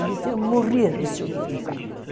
Ele morria de ciúmes do carro.